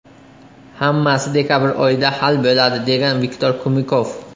Hammasi dekabr oyida hal bo‘ladi”, degan Viktor Kumikov.